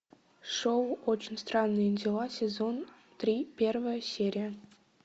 шоу очень странные дела сезон три первая серия